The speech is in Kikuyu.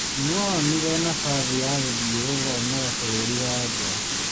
Nũonire nabathi ya gũthiĩ gũthomera bũrũri wa nja.